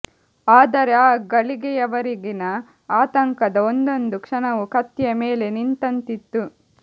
ಆದರೆ ಆ ಗಳಿಗೆಯವರೆಗಿನ ಆತಂಕದ ಒಂದೊಂದು ಕ್ಷಣವೂ ಕತ್ತಿಯ ಮೇಲೆ ನಿಂತಂತಿತ್ತು